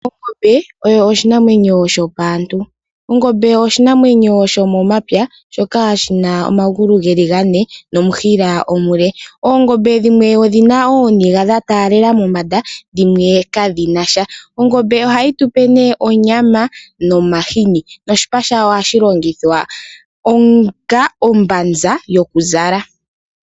Ongombe oyo oshinamwenyo shopaantu. Ongombe oyo oshinamwenyo shomomapya, shoka shi na omagulu ge li gane nomushila omule. Oongombe dhimwe odhi na ooniga dha taalela mombanda, dhimwe kadhi na sha. Ongombe ohayi tu pe nee onyama nomahini noshipa shawo ohashi longithwa onga ombanza yokuzala.